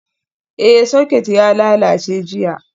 Ee, Socket ya lalace jiya.